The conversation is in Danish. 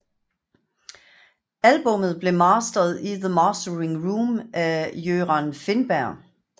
Albummet blev mastered i The Mastering Room af Göran Finnberg